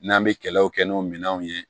N'an bɛ kɛlɛw kɛ n'o minɛnw ye